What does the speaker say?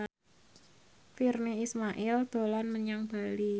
Virnie Ismail dolan menyang Bali